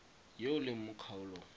yo o leng mo kgaolong